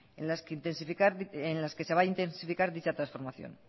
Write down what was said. en las que se va a intensificar dicha transformación